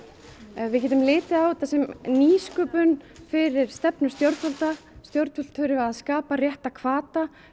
við getum litið á þetta sem nýsköpun fyrir stefnu stjórnvalda stjórnvöld þurfa að skapa rétta hvata